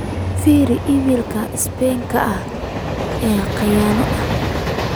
firi iimaylka spamka ah ee khiyano ah